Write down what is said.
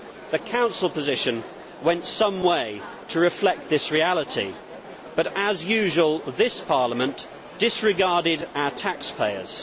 The Council position went some way to reflect this reality but as usual this Parliament disregarded our taxpayers.